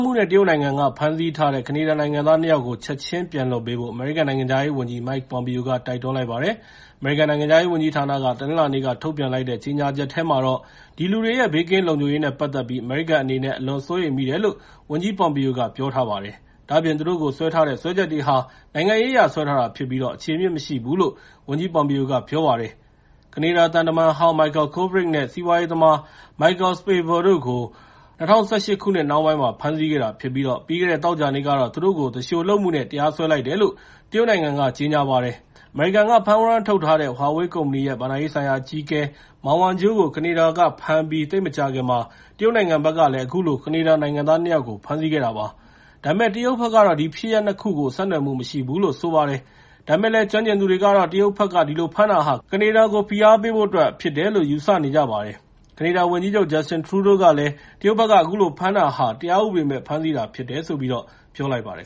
မှုနဲ့ တရုတ်နိုင်ငံက စွပ်စွဲ ဖမ်းဆီးထားတဲ့ ကနေဒါနိုင်ငံသား ၂ ယောက်ကို ချက်ချင်းပြန်လွှတ်ပေးဖို့ အမေရိကန်နိုင်ငံခြားဝန်ကြီး Mike Pompeo က တိုက်တွန်းလိုက်ပါတယ်။ အမေရိကန်နိုင်ငံခြားရေးဝန်ကြီးဌာနက တနင်္လာနေ့က ထုတ်ပြန်လိုက်တဲ့ ကြေညာချက်ထဲမှာတော့ အဲဒီလူတွေရဲက ဘေးကင်းလုံခြုံရေး နဲ့ ပတ်သက်ပြီး အမေရိကန်အနေနဲ့ အလွန်စိုးရိမ်မိတယ်လို့ ဝန်ကြီး Pompeo က ပြောထားပါတယ်။ ဒါ့အပြင် သူတို့ကို စွဲထားတဲ့ စွဲချက်တွေဟာ နိုင်ငံရေးအရ စွဲထားတာဖြစ်ပြီး၊ အခြေအမြစ်မရှိဘူးလို့ ဝန်ကြိး Pompeo က ပြောပါတယ်။ ကနေဒါသံတမန်ဟောင်း Michael Kovrig နဲ့ စီးပွားရေးသမား Michael Spavor တို့ကို ၂၀၁၈ ခုနှစ် နှောင်းပိုင်းမှာ ဖမ်းဆီးခဲ့တာဖြစ်ပြီး၊ ပြီးခဲ့တဲ့ သောကြာနေ့ကတော့ သူတို့ကို သူလျှိုလုပ်မှု နဲ့ တရားစွဲလိုက်တယ်လို့ တရုတ်နိုင်ငံက ကြေညာပါတယ်။ အမေရိကန်က ဖမ်းဝရမ်းထုတ်ထားတဲ့ Huawei ကုမ္ပဏီရဲ့ ဘဏ္ဍာရေးဆိုင်ရာအကြီးအကဲ Mang Wazhou ကို ကနေဒါက ဖမ်းပြီး သိပ်မကြာခင်မှာ တရုတ်နိုင်ငံဘက်ကလည်း အခုလို ကနေဒါနိုင်ငံသား ၂ ယောက်ကို ဖမ်းဆီးခဲ့တာပါ။ ဒါပေမဲ့ တရုတ်ဘက်ကတော့ ဒီဖြစ်ရပ် ၂ ခုကို ဆက်နွယ်မှုမရှိဘူးလို့ ဆိုပါတယ်။ ဒါပေမယ့်လည်း ကျွမ်းကျင်သူတွေကတော့ တရုတ်ဘက်က အဲဒီလိုဖမ်းတာဟာ ကနေဒါကို ဖိအားပေးဖို့အတွက် ဖမ်းတာဖြစ်တယ်လို့ ယူဆနေကြပါတယ်။ ကနေဒါဝန်ကြီးချုပ် Justin Trudeau ကတော့ တရုတ်ဘက်က အခုလိုဖမ်းဆီးတာဟာ တရားဥပဒေမဲ့ ဖမ်းဆီးတာဖြစ်တယ်လို့ ပြောလိုက်ပါတယ်